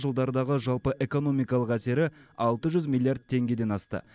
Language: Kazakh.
жылдардағы жалпы экономикалық әсері алты жүз миллиард теңгеден асты